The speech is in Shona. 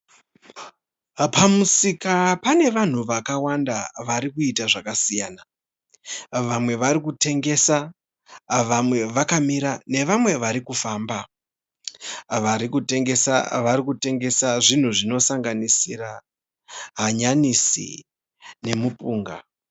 Pamusika pane vanhu vakawanda varikuita zvakasiyana. Vamwe vari kutengesa vamwe vakamira nevamwe vari kufamba. Vari kutengesa vari kutengesa zvinhu zvinosanganisira hanyanisi nemupunga.